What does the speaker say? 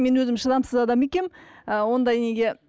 мен өзім шыдамсыз адам екенмін ы ондай неге